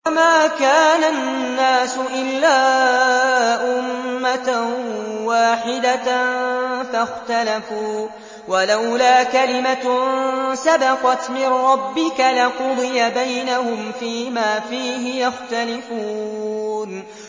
وَمَا كَانَ النَّاسُ إِلَّا أُمَّةً وَاحِدَةً فَاخْتَلَفُوا ۚ وَلَوْلَا كَلِمَةٌ سَبَقَتْ مِن رَّبِّكَ لَقُضِيَ بَيْنَهُمْ فِيمَا فِيهِ يَخْتَلِفُونَ